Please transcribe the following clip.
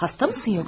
Yoxsa xəstəsən?